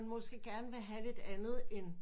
Måske gerne vil have lidt andet end